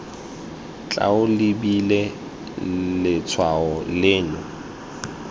tla o lebile letshwao leno